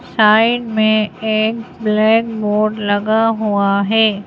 Side में एक black board लगा हुआ है।